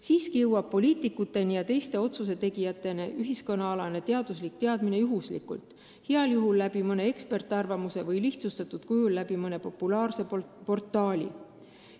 Samas jõuavad ühiskonnaalased teaduslikud teadmised poliitikute ja teiste otsusetegijateni juhuslikult, heal juhul mõne eksperdiarvamuse kaudu või lihtsustatud kujul mõne populaarse portaali kaudu.